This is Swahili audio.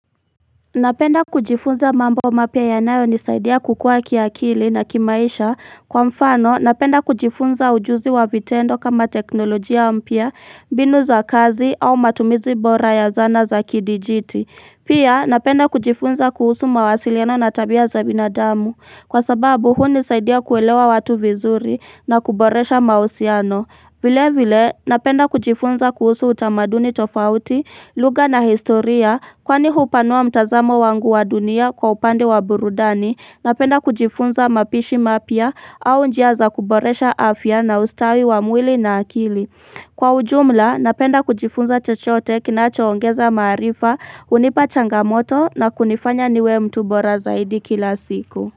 Napenda kujifunza mambo mapya yanayonisaidia kukua kiakili na kimaisha. Kwa mfano napenda kujifunza ujuzi wa vitendo kama teknolojia mpya, mbinu za kazi au matumizi bora ya zana za kidijiti. Pia napenda kujifunza kuhusu mawasiliano na tabia za binadamu kwa sababu huu unisaidia kuelewa watu vizuri na kuboresha mahusiano vile vile napenda kujifunza kuhusu utamaduni tofauti lugha na historia kwani hupanua mtazamo wangu wa dunia kwa upande wa burudani napenda kujifunza mapishi mapya au njia za kuboresha afya na ustawi wa mwili na akili Kwa ujumla napenda kujifunza chochote kinachoongeza maarifa, hunipa changamoto na kunifanya niwe mtu hbora zaidi kila siku.